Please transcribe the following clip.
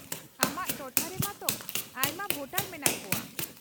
-ᱟᱢᱟᱜ ᱴᱚᱴᱷᱟ ᱨᱮᱢᱟᱜ ᱛᱚ ᱟᱭᱢᱟ ᱵᱷᱳᱴᱟᱨ ᱢᱮᱱᱟᱜ ᱠᱚᱣᱟ ᱾